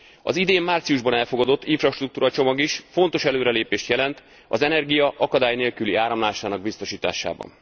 Az idén márciusban elfogadott infrastruktúra csomag is fontos előrelépést jelent az energia akadálynélküli áramlásának biztosításában.